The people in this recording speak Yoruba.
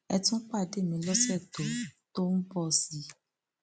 ẹ tún pàdé mi lọsẹ tó tó ń bọ sí i